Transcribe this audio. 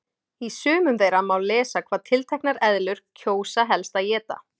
Í sumum þeirra má lesa hvað tilteknar eðlur kjósa helst að éta.